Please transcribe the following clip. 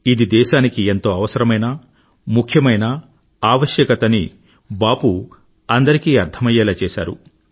ఇది దేశానికి ఎంతో అవసరమైన ముఖ్యమైన ఆవస్యకత అని బాపూ అందరికీ అర్థమయ్యేలా చేశారు